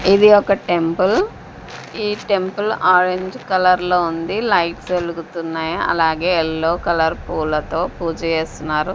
ఇది ఒక టెంపుల్ ఈ టెంపుల్ ఆరెంజ్ కలర్ లో ఉంది లైట్ వెలుగుతున్నాయి అలాగే ఎల్లో కలర్ పూలతో పూజ చేస్తున్నారు.